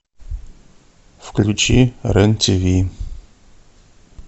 включи рен тв